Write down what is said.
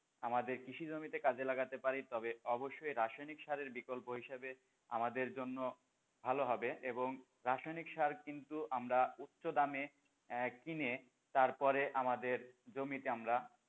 আমাদের কৃষি জমিতে কাজে লাগাতে পারি তবে রাসায়নিক সারের বিকল্প হিসেবে আমাদের জন্য ভালো হবে এবং রাসায়নিক কিন্তু আমরা উচ্চ দামে এ কিনে তারপরে আমাদের জমিতে আমরা,